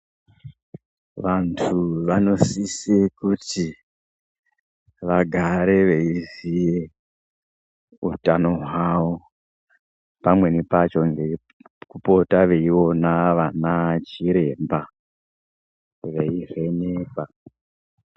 Vandu vanosisa kuti vagare veziya utano wavo pamweni pachona vapota veiona vanachiremba veivhenekwa.